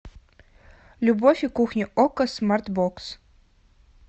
любовь и кухня окко смарт бокс